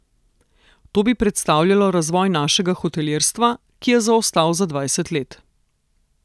To bi predstavljalo razvoj našega hotelirstva, ki je zaostal za dvajset let.